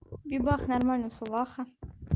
бибах нормально всё ваха